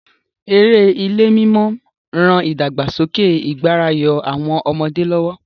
Eré ilé-mímọ ran ìdàgbàsókè ìgbáràyọ àwọn ọmọdé lọ́wọ́.